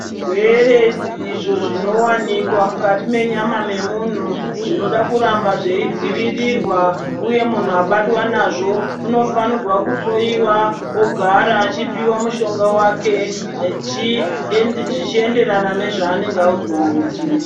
Zvirwere izvo zvinowanika mukati mwenyama yemuntu zvinoda kuramba zveidzivirirwa uye mubtu abatwa nazvo unofanirwa kuhloyiwa ogara achipiwa mushonga wake zvichienderana nezvaanenge audzwa nachiremba.